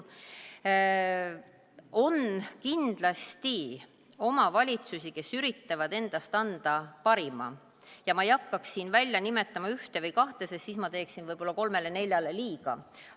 On kindlasti omavalitsusi, kes üritavad endast anda parima, ja ma ei hakkaks siin nimetama ühte või kahte, sest siis ma teeksin võib-olla kolmele-neljale liiga.